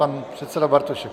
Pan předseda Bartošek.